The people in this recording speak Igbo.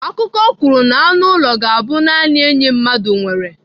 Akụkọ kwuru na anụ ụlọ ga-abụ naanị enyi mmadụ nwere.